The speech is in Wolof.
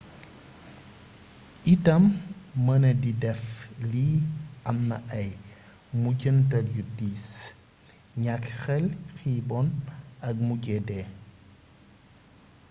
itam mënadi dëf li amna ay mujjantal yu diis ñakk xel xiibon ak mujje dee